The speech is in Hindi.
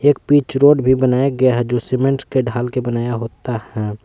पिच रोड भी बनाया गया है जो सीमेंट के ढाल के बनाया होता है।